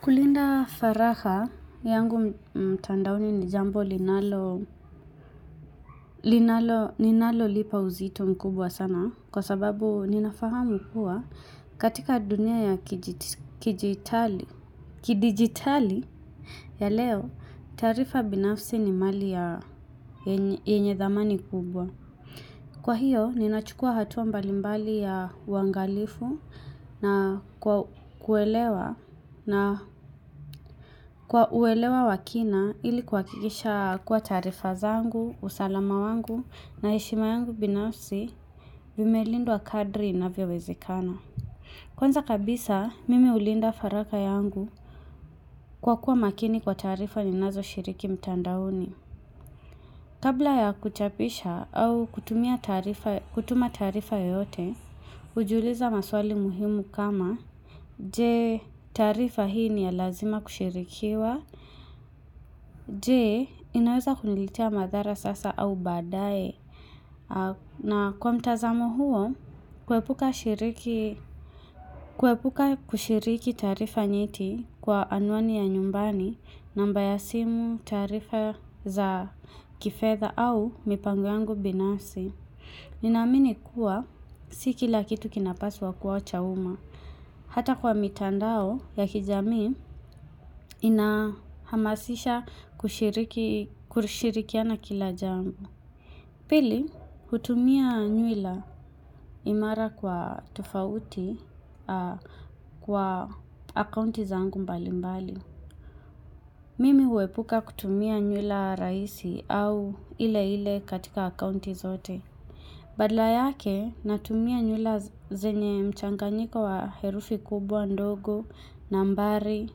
Kulinda faraha yangu mtandaoni ni jambo linalo ninalolipa uzito mkubwa sana kwa sababu ninafahamu kuwa katika dunia ya kidigitali ya leo taarifa binafsi ni mali ya yenye dhamani kubwa. Kwa hiyo, ninachukua hatua mbalimbali ya uangalifu na kwa kuelewa wakina ili kuhakikisha kuwa taarifa zangu, usalama wangu na heshima yangu binafsi vimelindwa kadri inavyowezekana. Kwanza kabisa, mimi hulinda faraha yangu kwa kuwa makini kwa taarifa ninazoshiriki mtandaoni. Kabla ya kuchapisha au kutuma taarifa yoyote, hujiuliza maswali muhimu kama, je, taarifa hii ni ya lazima kushirikiwa, je, inaweza kuniletea madhara sasa au baadae. Na kwa mtazamo huo, kuepuka kushiriki taarifa nyeti kwa anwani ya nyumbani namba ya simu taarifa za kifedha au mipango yangu binasi. Ninaamini kuwa, si kila kitu kinapaswa kuwa cha umma. Hata kwa mitandao ya kijamii, inahamasisha kushirikiana kila jambo. Pili, hutumia nywila imara kwa tofauti kwa akaunti zangu mbali mbali. Mimi huepuka kutumia nywila rahisi au ile ile katika akaunti zote. Badala yake, natumia nywila zenye mchanganyiko wa herufi kubwa ndogo, nambari,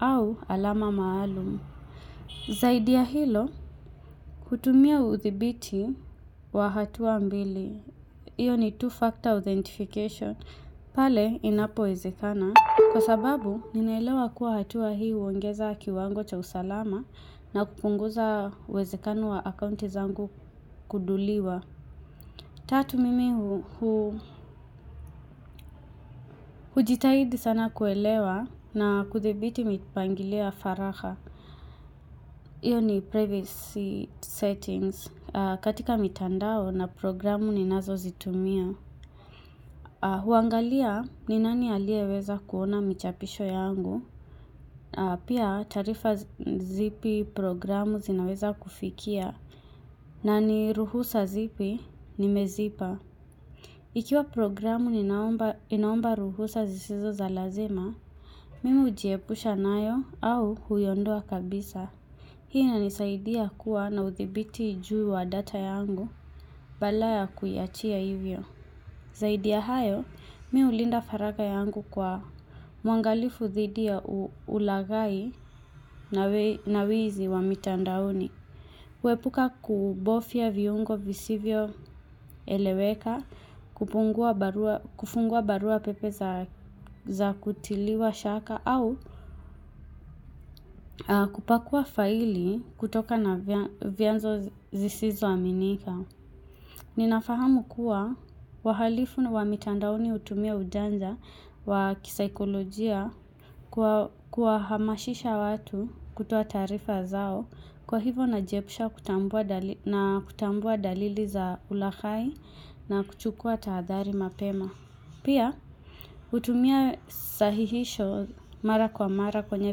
au alama maalum. Zaidi ya hilo, hutumia uthibiti wa hatuwa mbili, iyo ni two-factor authentication, pale inapowezekana. Kwa sababu, ninaelewa kuwa hatua hii huongeza kiwango cha usalama na kupunguza uwezekano wa akaunti zangu kuduliwa. Tatu mimi, hujitahidi sana kuelewa na kuthibiti mipangilio ya faraha. Hiyo ni privacy settings. Katika mitandao na programu ninazozitumia. Huangalia ni nani alieweza kuona michapisho yangu. Pia taarifa zipi programu zinaweza kufikia. Na ni ruhusa zipi nimezipa. Ikiwa programu inaomba ruhusa zisizo za lazima, mimi hujiepusha nayo au huiondoa kabisa. Hii inanisaidia kuwa na uthibiti juu wa data yangu badala kuiachia hivyo. Zaidi ya hayo, mimi hulinda faraha yangu kwa mwangalifu dhidi ya ulaghai na wizi wa mitandaoni. Kuepuka kubofya viungo visivyoeleweka, kufungua barua pepe za kutiliwa shaka au kupakua faili kutokana vianzo zisizo aminika. Ninafahamu kuwa wahalifu wa wamitandaoni hutumia ujanja wa kisaikolojia kwa kuwahamasisha watu kutoa taarifa zao kwa hivo najiepusha na kutambua dalili za ulaghai na kuchukua tahadhari mapema. Pia, hutumia sahihisho mara kwa mara kwenye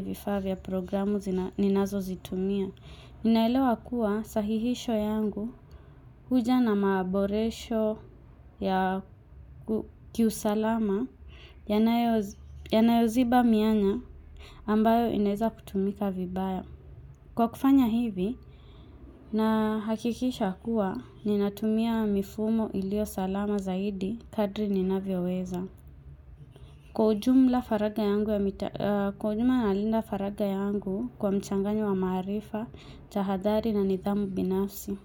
vifaa vya programu ninazozitumia. Ninaelewa kuwa sahihisho yangu huja na maboresho ya kiusalama yanayoziba mianya ambayo inaeza kutumika vibaya. Kwa kufanya hivi, nahakikisha kuwa ninatumia mifumo ilio salama zaidi kadri ninavyo weza. Kwa ujumla nalinda faraga yangu kwa mchanganyo wa maarifa, tahadhari na nidhamu binafsi.